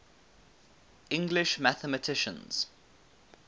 english mathematicians